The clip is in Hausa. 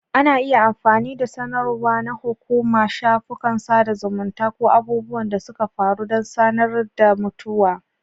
Ana iya amfani da sanarwa na hukuma, shafukan sada zumunta, ko abubuwan da suka faru don sanar da mutuwa.